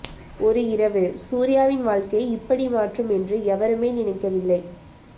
ஒரு இரவு சூர்யாவின் வாழ்க்கையை இப்படி மாற்றும் என்று யவருமே நினைக்க வில்லை